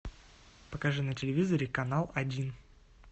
покажи на телевизоре канал один